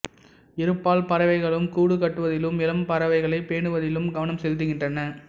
இருபால் பறவைகளும் கூடு கட்டுவதிலும் இளம் பறவைகளைப் பேணுவதிலும் கவனம் செலுத்துகின்றன